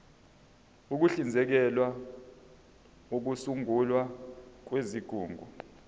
uhlinzekela ukusungulwa kwezigungu